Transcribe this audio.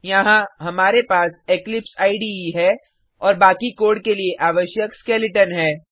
यहाँ हमारे पास इक्लिप्स इडे है और बाकि कोड के लिए आवश्यक स्केलेटन है